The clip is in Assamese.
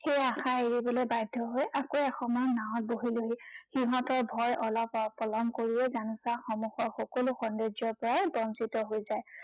সেই আশা এৰিবলৈ বাধ্য় হৈ আকৌ এসময়ত নাঁৱত বহিলোহি। সিহঁতৰ ভয় অলপ পলম কৰিলেই জানোচা সন্মুখৰ সকলো সৌন্দৰ্যৰ পৰা বঞ্চিত হৈ যায়।